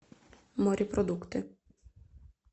морепродукты